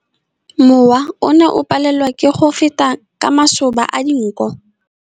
Mowa o ne o palelwa ke go feta ka masoba a dinko.